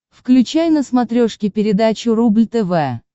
включай на смотрешке передачу рубль тв